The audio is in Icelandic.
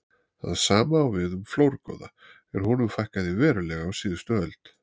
það sama á við um flórgoða en honum fækkaði verulega á síðustu öld